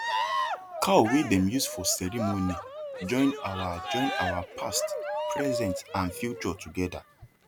cow wey dem use for ceremony join our join our past present and future together